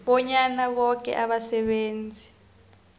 bonyana boke abasebenzi